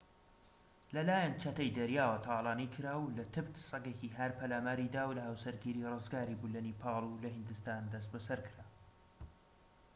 لەلایەن چەتەی دەریاوە تاڵانی کرا و لە تبت سەگێکی هار پەلاماری دا و لە هاوسەرگیری ڕزگاری بوو لە نیپاڵ و لە هیندستان دەستبەسەر کرا